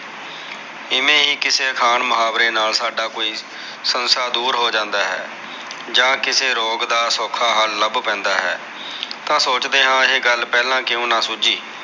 ਇਵੇ ਹੀ ਕਿਸੇ ਅਖਾਣ ਮੁਹਾਵਰੇ ਨਾਲ ਸਾਡਾ ਕੋਈ ਸੰਸਾ ਦੁਰ ਹੋ ਜਾਂਦਾ ਹੈ ਜਾ ਕਿਸੇ ਰੋਗ ਦਾ ਸੋਖਾ ਹਲ ਲਭ ਪੈਂਦਾ ਹੈ ਤਾ ਸੋਚਦੇ ਹਾ ਕੇ ਇਹ ਗਲ ਪਹਿਲਾ ਕਿਉ ਨਾ ਸੂਝੀ